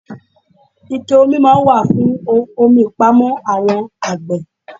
Ike-omi máa ń wà fún omi ìpamọ́ àwọn àgbè.